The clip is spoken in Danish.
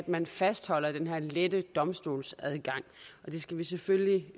man fastholder den her lette domstolsadgang vi skal selvfølgelig